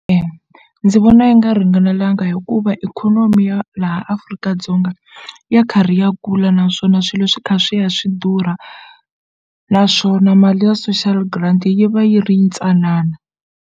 ndzi vona yi nga ringanelanga hikuva ikhonomi ya laha Afrika-Dzonga ya karhi ya kula naswona swilo swi kha swi ya swi durha naswona mali ya social grant yi va yi ri ntsanana.